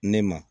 Ne ma